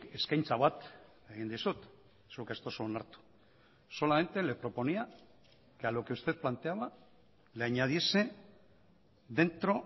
eskaintza bat egin dizut zuk ez duzu onartu solamente le proponía que a lo que usted planteaba le añadiese dentro